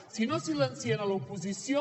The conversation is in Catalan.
si no silencien l’oposició